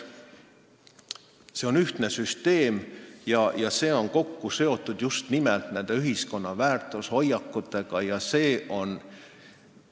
See on ühtne süsteem, mis on just nimelt ühiskonna väärtushoiakutega kokku seotud.